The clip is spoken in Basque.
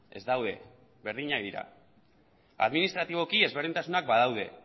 ez daude berdinak dira administratiboki ezberdintasunak badaude